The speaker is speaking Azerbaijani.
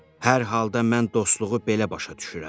Hər halda mən dostluğu belə başa düşürəm.